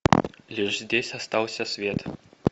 лишь здесь остался свет